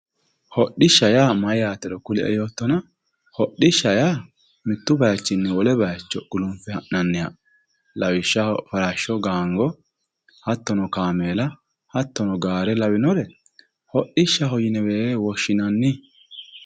Hodhisha yaa mayaatero kulie yoottona, hodhishsha yaa mittu baayiichinni wole baayiicho gulunfe ha'nanniha lawishshaho farashsho gaango hattono kaameela hattono gaare lawinore hodhishshaho yinewe woshshinanni.